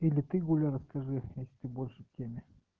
или ты гуля расскажи если ты больше в теме